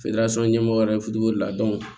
ɲɛmɔgɔw yɛrɛ de la